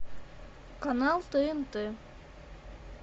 канал тнт